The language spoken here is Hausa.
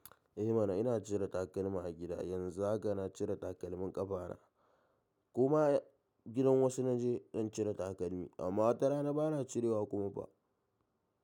Eh mana ina cire takalma a gida. Yanzu haka na cire takalmin ƙafana kuma gidan wasu na je don cire takalmi amma tara na ba na cirewa kuma ba.